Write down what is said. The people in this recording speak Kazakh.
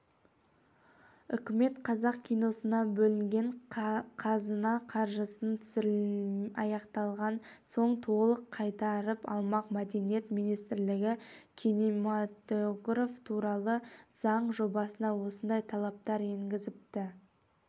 үкімет қазақ киносына бөлінген қазына қаржысын түсірілім аяқталған соң толық қайтарып алмақ мәдениет министрлігі кинематография туралы заң жобасына осындай талаптар енгізіпті